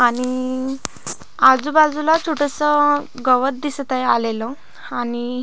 आणि आजूबाजूला छोटस गवत दिसत आहे आलेल आणि--